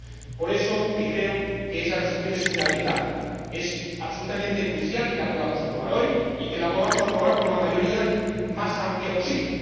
Y es por eso que creo que esta resolución es fundamental, que es absolutamente crucial que la podamos aprobar hoy y que la podamos aprobar con la mayoría más amplia posible.